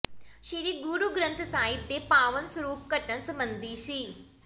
ਸ੍ਰੀ ਗੁਰੂ ਗ੍ਰੰਥ ਸਾਹਿਬ ਦੇ ਪਾਵਨ ਸਰੂਪ ਘੱਟਣ ਸਬੰਧੀ ਸ